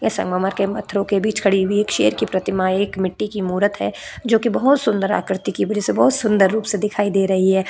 यह संगमरमर के पत्थरों के बीच खड़ी हुई एक शेर की प्रतिमा है एक मिट्टी की मूरत है जोकि बहोत सुंदर आकृति की वजह से बहोत सुंदर रूप में दिखाई दे रही है।